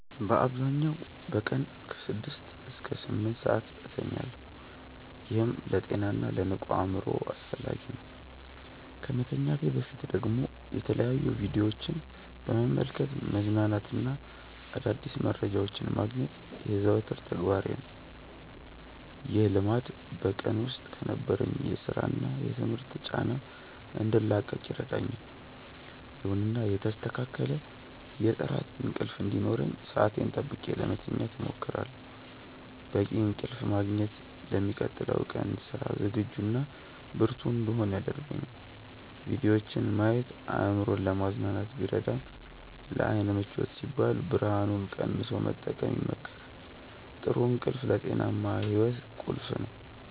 በአብዛኛው በቀን ከ6 እስከ 8 ሰዓት እተኛለሁ፤ ይህም ለጤናና ለንቁ አእምሮ አስፈላጊ ነው። ከመተኛቴ በፊት ደግሞ የተለያዩ ቪዲዮዎችን በመመልከት መዝናናትና አዳዲስ መረጃዎችን ማግኘት የዘወትር ተግባሬ ነው። ይህ ልማድ በቀን ውስጥ ከነበረኝ የሥራና የትምህርት ጫና እንድላቀቅ ይረዳኛል። ይሁንና የተስተካከለ የጥራት እንቅልፍ እንዲኖረኝ ሰዓቴን ጠብቄ ለመተኛት እሞክራለሁ። በቂ እንቅልፍ ማግኘት ለሚቀጥለው ቀን ስራ ዝግጁና ብርቱ እንድሆን ያደርገኛል። ቪዲዮዎችን ማየት አእምሮን ለማዝናናት ቢረዳም፣ ለዓይን ምቾት ሲባል ብርሃኑን ቀንሶ መጠቀም ይመከራል። ጥሩ እንቅልፍ ለጤናማ ሕይወት ቁልፍ ነው።